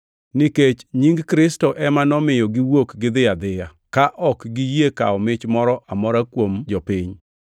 Nikech nying Kristo ema nomiyo giwuok gidhi adhiya, ka ok giyie kawo mich moro amora kuom jopiny.